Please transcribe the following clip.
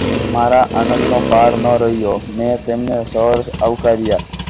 મારા આનંદનો પાર ન રહ્યો. મેં તેમને શોર્ટ આવકાર્યા.